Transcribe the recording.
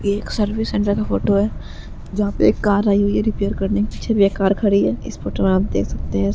ये एक service centre की फोटो जहा पे (पर) एक कार आई हुई है रिपेयर करने पीछे भी एक कार खड़ी है इस फोटो आप मे देख सकते है।